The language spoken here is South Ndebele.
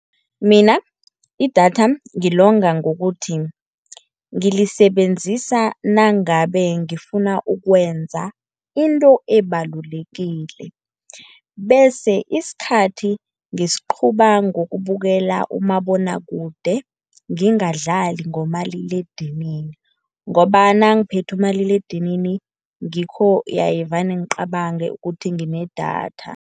Mina idatha ngilonga ngokuthi ngilisebenzisa nangabe ngifuna ukwenza into ebalulekile, bese isikhathi ngisiqhuba ngokubukela umabonwakude, ngingadlali ngomaliledinini ngoba nangiphethe umaliledinini ngikho haye vane ngicabange ukuthi nginedatha.